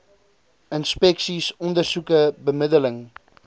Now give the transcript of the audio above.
inspeksies ondersoeke bemiddeling